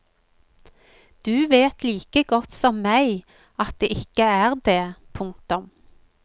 Du vet like godt som meg at det ikke er det. punktum